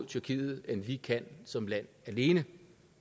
tyrkiet end vi kan som land alene